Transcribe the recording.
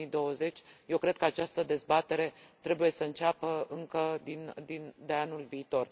2020. Eu cred că această dezbatere trebuie să înceapă încă de anul viitor.